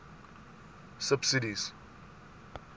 subsidies